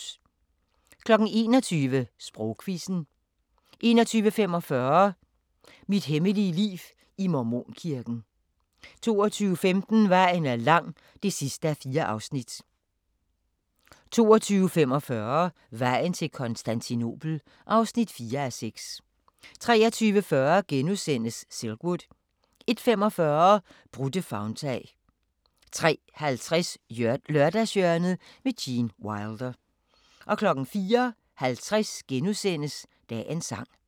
21:00: Sprogquizzen 21:45: Mit hemmelige liv i Mormonkirken 22:15: Vejen er lang (4:4) 22:45: Vejen til Konstantinopel (4:6) 23:40: Silkwood * 01:45: Brudte favntag 03:50: Lørdagshjørnet – Gene Wilder 04:50: Dagens Sang *